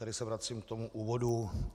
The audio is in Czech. Tady se vracím k tomu úvodu.